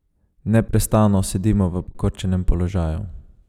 Neprestano sedimo v pokrčenem položaju.